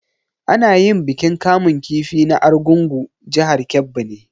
Ana yin bikin kamun kifi na argungua jihar Kebbi ne